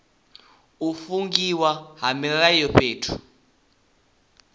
u fungiwa ha mililo fhethu